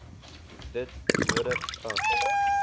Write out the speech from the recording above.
dit nodig ag